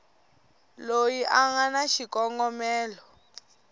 loyi a nga na xikongomelo